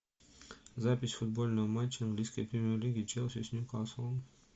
запись футбольного матча английской премьер лиги челси с ньюкаслом